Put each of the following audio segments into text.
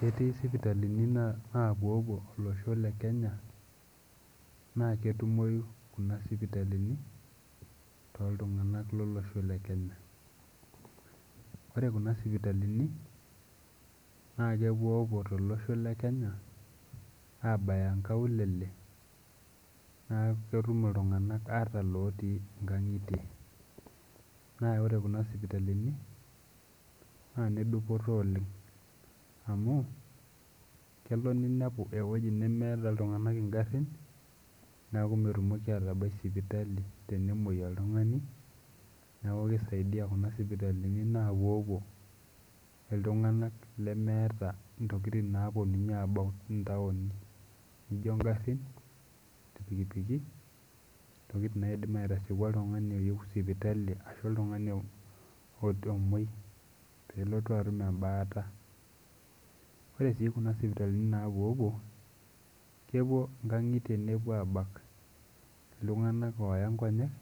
Ketii isipitalini naa napuopuo olosho le kenya naa ketumoi kuna sipitalini toltung'anak lolosho le kenya ore kuna sipitalini na kepuopuo tolosho le kenya abaya nkaulele naaku ketum iltung'anak ata ilotii inkang'itie naa ore kuna sipitalini naa inedupoto oleng amu kelo ninepu ewoji nemeeta iltung'anak ingarrin neku metumoki atabai sipitali tenemoi oltung'ani neku kisaidia kuna sipitalini napuopuo iltung'anak intokitin naponunyie abau intaoni nijio ingarrin irpikipiki intokitin naidim aitasieku oltung'ani oyieu sipitali ashu oltung'ani o omuoi pelotu atum embaata ore sii kuna sipitalini napuopuo kepuo nkang'itie nepuo abak iltung'anak ooya nkonyek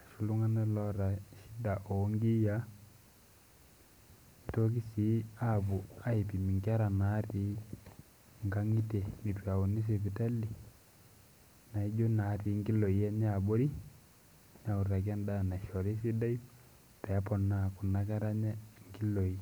ashu iltung'anak oota shida onkiyia nitoki sii apuo aipim inkera natii inkang'itie netu itauni sipitali naijio natii innkiloi enye abori neutaki endaa naishori sidai peeponaa kuna kera enye inkiloi.